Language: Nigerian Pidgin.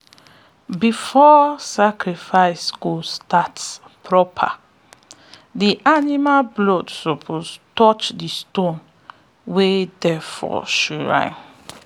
before sacrifice go start proper the animal blood suppose touch the stone wey dey for shrine.